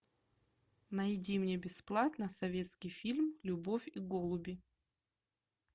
найди мне бесплатно советский фильм любовь и голуби